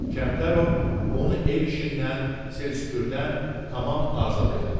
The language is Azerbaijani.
Kəmtərov onu ev işindən, sil-süpürdən tamam azad elədi.